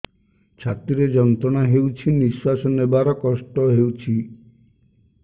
ଛାତି ରେ ଯନ୍ତ୍ରଣା ହେଉଛି ନିଶ୍ଵାସ ନେବାର କଷ୍ଟ ହେଉଛି